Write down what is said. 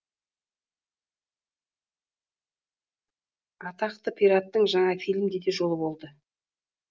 атақты пираттың жаңа фильмде де жолы болды